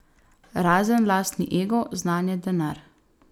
Razen lastni ego, znanje, denar.